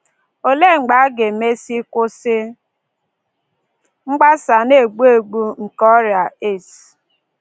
Olee mgbe a ga-emesị kwụsị mgbasa na-egbu egbu nke ọrịa AIDS?